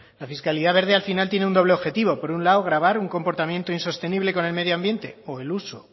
la fiscalía verde al final tiene un doble objetivo por un lado gravar un comportamiento insostenible con el medio ambiente o el uso